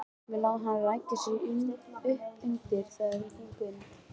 Við lá hann ræki sig uppundir þegar þeir gengu inn.